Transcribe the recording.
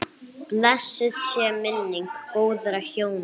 Blessuð sé minning góðra hjóna.